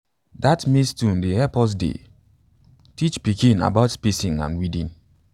dat maize tune dey help us dey teach pikin about spacing and weeding